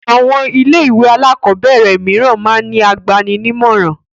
Àwọn ilé-ìwé alákọ̀ọ́bẹ̀rẹ̀ mìíràn máa ń ní agbani-nímọ̀ràn.